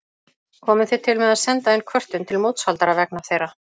Komið þið til með að senda inn kvörtun til mótshaldara vegna þeirra?